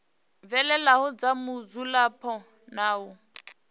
fhelelaho dza mudzulapo na u